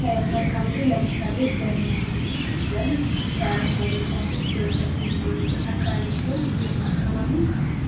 ከመልካም ምድር ለምሳሌ ደንን ብንወስድ ደን አረንጓዴ እፅዋቶች በብዛት የሚገኙበት አካባቢ ሲሆን ይሄም አካባቢ